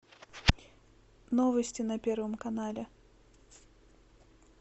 новости на первом канале